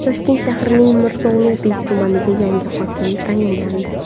Toshkent shahrining Mirzo Ulug‘bek tumaniga yangi hokim tayinlandi.